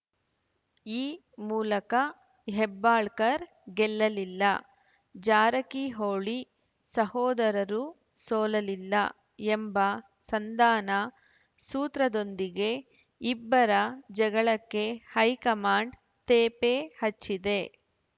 ಈ ಮೂಲಕ ಹೆಬ್ಬಾಳ್ಕರ್‌ ಗೆಲ್ಲಲಿಲ್ಲ ಜಾರಕಿಹೊಳಿ ಸಹೋದರರೂ ಸೋಲಲಿಲ್ಲ ಎಂಬ ಸಂಧಾನ ಸೂತ್ರದೊಂದಿಗೆ ಇಬ್ಬರ ಜಗಳಕ್ಕೆ ಹೈಕಮಾಂಡ್‌ ತೇಪೆ ಹಚ್ಚಿದೆ